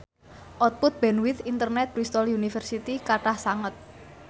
output bandwith internet Bristol university kathah sanget